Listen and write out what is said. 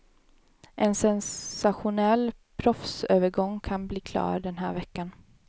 En sensationell proffsövergång kan bli klar den här veckan.